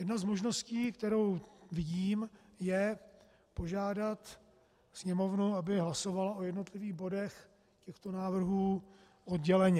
Jedna z možností, kterou vidím, je požádat Sněmovnu, aby hlasovala o jednotlivých bodech těchto návrhů odděleně.